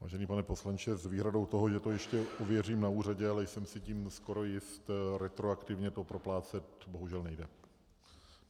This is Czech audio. Vážený pane poslanče, s výhradou toho, že to ještě ověřím na úřadě, ale jsem si tím skoro jist, retroaktivně to proplácet bohužel nejde.